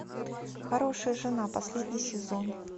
хорошая жена последний сезон